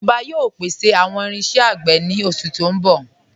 Ijoba yóò pèsè awọn irinṣẹ̀ agbè ni oṣù ti n bọ̀.